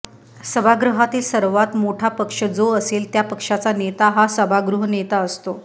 सभागृहातील सर्वात मोठा पक्ष जो असेल त्या पक्षाचा नेता हा सभागृहनेता असतो